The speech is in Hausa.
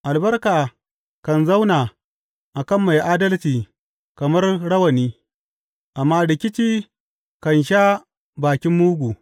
Albarka kan zauna a kan mai adalci kamar rawani, amma rikici kan sha bakin mugu.